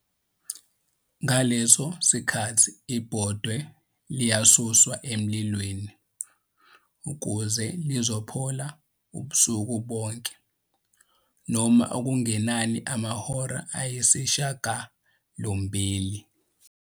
Ngaleso sikhathi ibhodwe liyasuswa emlilweni ukuze liphole ubusuku bonke - noma okungenani amahora ayisishiyagalombili.